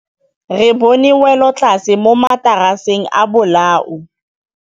Re bone wêlôtlasê mo mataraseng a bolaô.